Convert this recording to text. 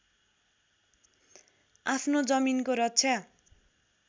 आफ्नो जमिनको रक्षा